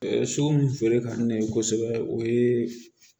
So mun feere ka ne ye kosɛbɛ o ye